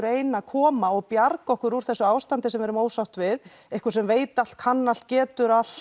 ein að koma og bjarga okkur úr þessu ástandi sem við erum ósátt við einhver sem veit allt kann allt getur allt